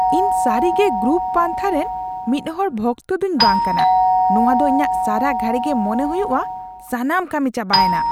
ᱤᱧ ᱥᱟᱹᱨᱤᱜᱮ ᱜᱨᱩᱯ ᱯᱟᱱᱛᱷᱟ ᱨᱮᱱ ᱢᱤᱫ ᱦᱚᱲ ᱵᱷᱚᱠᱛᱚ ᱫᱩᱧ ᱵᱟᱝ ᱠᱟᱱᱟ ; ᱱᱚᱶᱟ ᱫᱚ ᱤᱧᱟᱹᱜ ᱥᱟᱨᱟ ᱜᱷᱟᱲᱤ ᱜᱮ ᱢᱚᱱᱮ ᱦᱩᱭᱩᱜᱼᱟ ᱥᱟᱱᱢ ᱠᱟᱹᱢᱤ ᱪᱟᱵᱟᱭᱮᱱᱟ